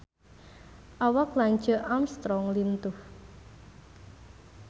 Awak Lance Armstrong lintuh